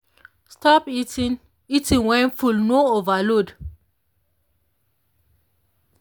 stop eating eating when full no overload.